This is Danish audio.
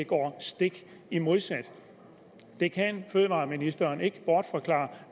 går stik modsat det kan fødevareministeren ikke bortforklare